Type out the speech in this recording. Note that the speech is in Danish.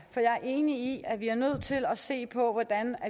så jeg er enig i at vi er nødt til at se på hvordan